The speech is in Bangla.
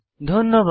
ধন্যবাদ